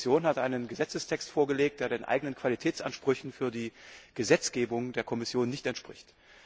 Die Kommission hat einen Gesetzestext vorgelegt, der den eigenen Qualitätsansprüchen für die Gesetzgebung der Kommission nicht entspricht.